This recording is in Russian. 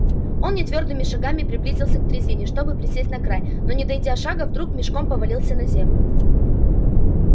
он нетвёрдыми шагами приблизился к дрезине чтобы присесть на край но не дойдя шага вдруг мешком повалился на землю